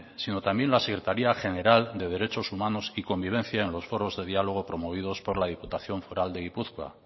sino también la secretaría general de derechos humanos y convivencia en los foros de dialogo promovidos por la diputación foral de gipuzkoa